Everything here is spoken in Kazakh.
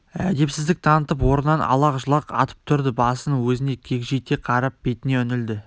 әдепсіздік танытып орнынан алақ-жұлақ атып тұрды басын өзіне кегжите қарап бетіне үңілді